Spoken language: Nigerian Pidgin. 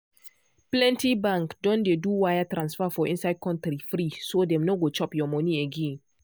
plenty bank don dey do wire transfer for inside country free so dem no go chop your money again.